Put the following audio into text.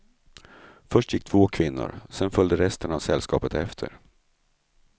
Först gick två kvinnor, sedan följde resten av sällskapet efter.